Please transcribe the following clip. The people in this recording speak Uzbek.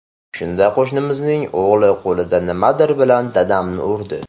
Shunda qo‘shnimizning o‘g‘li qo‘lida nimadir bilan dadamni urdi.